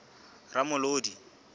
ramolodi